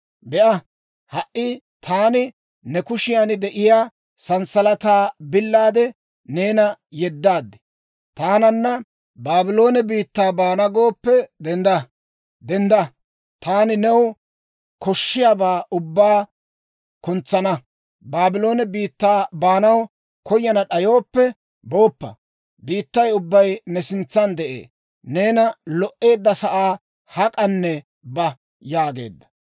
Be'a, ha"i taani ne kushiyan de'iyaa sanssalataa billaade neena yeddaad. Taananna Baabloone biittaa baana gooppe dendda; taani new koshshiyaabaa ubbaa kuntsana. Baabloone biittaa baanaw koyana d'ayooppe booppa. Biittay ubbay ne sintsan de'ee; neena lo"eedda sa'aa hak'anne ba» yaageedda.